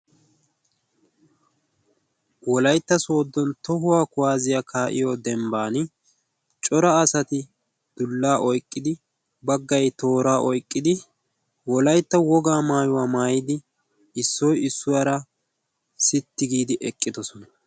wolaitta soodon tohuwaa kuwaaziyaa kaa7iyo dembban cora asati dullaa oiqqidi baggai tooraa oiqqidi wolaitta wogaa maayuwaa maayidi issoi issuwaara sitti giidi eqqidosona.